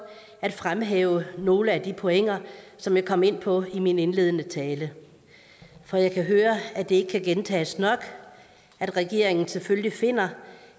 at fremhæve nogle af de pointer som jeg kom ind på i min indledende tale for jeg kan høre at det ikke kan gentages nok at regeringen selvfølgelig finder